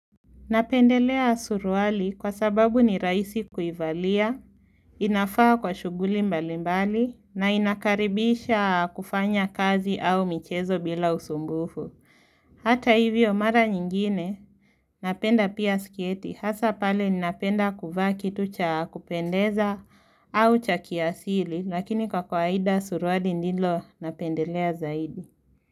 Napendelea surwali kwa sababu ni rahisi kuivalia, inafaa kwa shughuli mbali mbali, na inakaribisha kufanya kazi au michezo bila usumbufu. Hata hivyo mara nyingine, napenda pia sketi, hasa pale ninapenda kuvaa kitu cha kupendeza au cha kiasili, lakini kwa kwaida surwali ndilo napendelea zaidi.